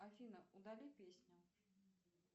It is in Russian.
афина удали песню